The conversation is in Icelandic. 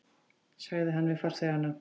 sagði hann við farþegana.